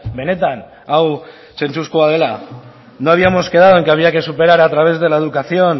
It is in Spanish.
benetan hau zentzuzkoa dela no habíamos quedado en que había que superar a través de la educación